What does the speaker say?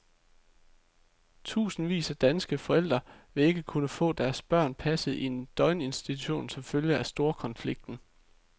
Tusindvis af danske forældre vil ikke kunne få deres børn passet i en døgninstitution som følge af storkonflikten.